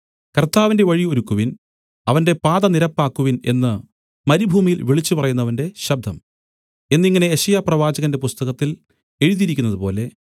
കർത്താവിന്റെ വഴി ഒരുക്കുവിൻ അവന്റെ പാത നിരപ്പാക്കുവിൻ എന്നു മരുഭൂമിയിൽ വിളിച്ചുപറയുന്നവന്റെ ശബ്ദം എന്നിങ്ങനെ യെശയ്യാപ്രവാചകന്റെ പുസ്തകത്തിൽ എഴുതിയിരിക്കുന്നതുപോലെ